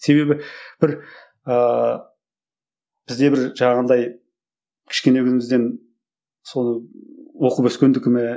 себебі бір ыыы бізде бір жаңағындай кішкене күнімізден соны оқып өскендікі ме